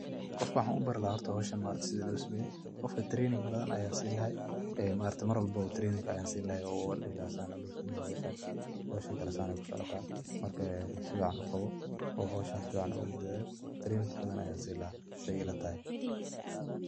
Qofka waxan ubari laha horta howshan maaragte sida losameyo, qofka training badan ayan sini lahay ee maaragte war walbaba training ayan sini laha oo an dihi laha sidan aya losameya howshan, howshan kale sidan kusocota marka sifican uqawo oo howshan sifican ogudadal training badan ayan sini lahay sida ilatahay.